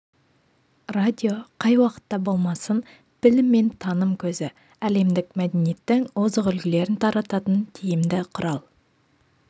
радио қай уақытта болмасын білім мен таным көзі әлемдік мәдениеттің озық үлгілерін тарататын тиімді құрал